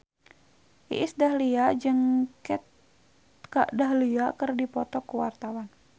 Iis Dahlia jeung Kat Dahlia keur dipoto ku wartawan